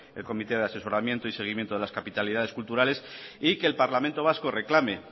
el comité de asesoramiento y seguimiento de las capitalidades culturales y que el parlamento vasco reclame